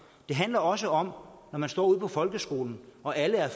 det handler også om når man står ude på folkeskolen og alle er